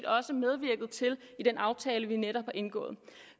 også medvirket til i den aftale vi netop har indgået